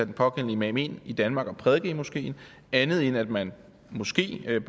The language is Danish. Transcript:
den pågældende imam ind i danmark for at prædike i moskeen andet end at man måske kan